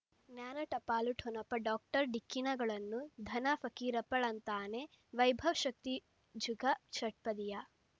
ಜ್ಞಾನ ಟಪಾಲು ಠೊಣಪ ಡಾಕ್ಟರ್ ಢಿಕ್ಕಿ ಣಗಳನು ಧನ ಫಕೀರಪ್ಪ ಳಂತಾನೆ ವೈಭವ್ ಶಕ್ತಿ ಜುಗಾ ಷಟ್ಪದಿಯ